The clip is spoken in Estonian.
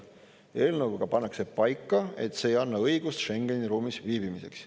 Eelnõuga pannakse paika, et see ei anna õigust Schengeni ruumis viibimiseks.